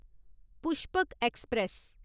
Pushpak express